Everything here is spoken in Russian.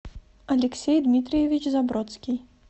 алексей дмитриевич забродский